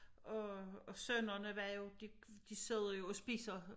Og og sønnerne var jo de de sidder jo og spiser